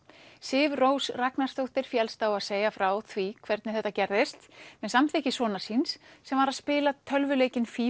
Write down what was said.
Sif Rós Ragnarsdóttir féllst á að segja frá því hvernig þetta gerðist með samþykki sonar síns sem var að spila tölvuleikinn